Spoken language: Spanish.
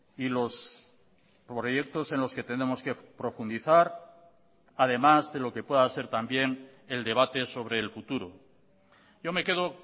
y los proyectos en los que tenemos que profundizar además de lo que pueda ser también el debate sobre el futuro yo me quedo